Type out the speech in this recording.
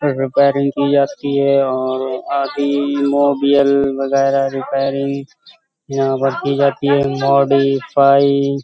Repairing की जाती है और अभी मोबियल वगैरह रिपेयरिंग यहाँ पर की जाती हैं। मोडिफाई --